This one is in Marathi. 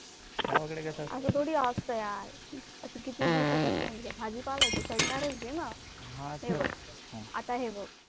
अस थोडी असत यार किती दिवसाचे असत म्हणजे भाजीपाला आहे तो, सडणारच आहे न. हे बघ आता हे बघ